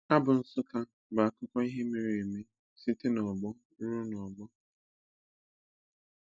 Abụ Nsukka bu akụkọ ihe mere eme site n'ọgbọ ruo n'ọgbọ.